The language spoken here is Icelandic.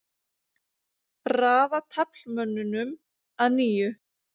Raða taflmönnunum að nýju.